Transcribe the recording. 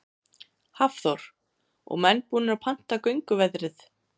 Hafþór: Og menn búnir að panta gönguveðrið?